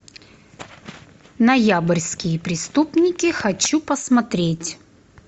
ноябрьские преступники хочу посмотреть